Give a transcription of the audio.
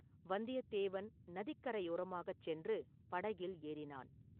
வந்தியத்தேவன் நதிக்கரையோரமாகச் சென்று படகில் ஏறினான்.